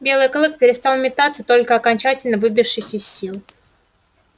белый клык перестал метаться только окончательно выбившись из сил